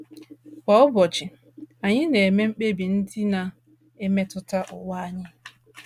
Kwa ụbọchị, anyị na - eme mkpebi ndị na - emetụta ụwa anyị.